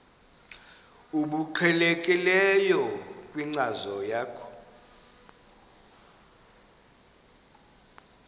obuqhelekileyo kwinkcazo yakho